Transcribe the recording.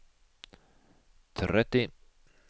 tretti